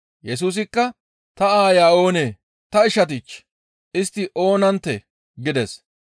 Yesusikka, «Ta aaya oonee? Ta ishatich! Istti oonanttee?» gides.